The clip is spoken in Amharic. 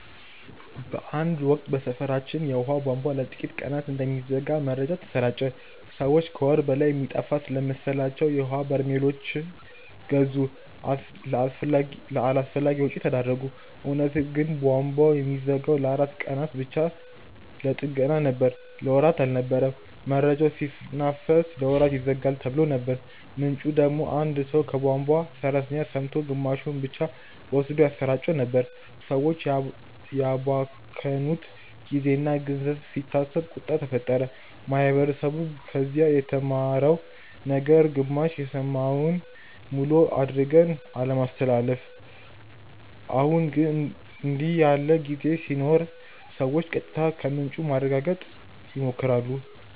በአንድ ወቅት በሰፈራችን የውሃ ቧንቧ ለጥቂት ቀናት እንደሚዘጋ መረጃ ተሰራጨ። ሰዎች ከወር በላይ የሚጠፋ ስለመሰላቸው የውሀ በርሜሎች ገዙ፣ ለአላስፈላጊ ወጪ ተዳረጉ። እውነቱ ግን ቧንቧው የሚዘጋው ለአራት ቀናት ብቻ ለጥገና ነበር። ለወራት አልነበረም። መረጃው ሲናፈስ "ለወራት ይዘጋል"ተብሎ ነበር፣ ምንጩ ደግሞ አንድ ሰው ከቧንቧ ሠራተኛ ሰምቶ ግማሹን ብቻ ወስዶ ያሰራጨው ነበር። ሰዎች ያባከኑት ጊዜና ገንዘብ ሲታሰብ ቁጣ ተፈጠረ። ማህበረሰቡ ከዚህ የተማረው ነገር ግማሽ የሰማነውን ሙሉ አድርገን አለማስተላለፍ። አሁን ግን እንዲህ ያለ ዜና ሲኖር ሰዎች ቀጥታ ከምንጩ ለማረጋገጥ ይሞክራሉ